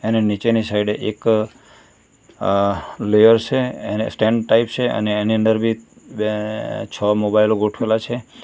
એની નીચેની સાઈડ એક અહ લેયર છે એને સ્ટેન્ડ ટાઇપ છે અને એની અંડર બી બે છ મોબાઇલ ગોઠવેલા છે.